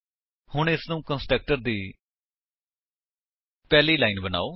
ਹੁਣ ਇਸਨੂੰ ਕੰਸਟਰਕਟਰ ਦੀ ਪਹਿਲੀ ਲਾਇਨ ਬਨਾਓ